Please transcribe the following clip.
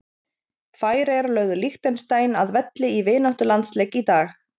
Færeyjar lögðu Liechtenstein að velli í vináttulandsleik í dag.